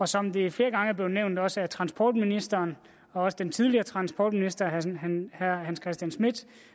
som det flere gange er blevet nævnt også af transportministeren og af den tidligere transportminister herre hans christian schmidt